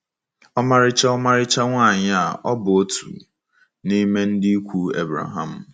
Ọmarịcha Ọmarịcha nwanyị a ọ̀ bụ otu n’ime ndị ikwu Ebreham?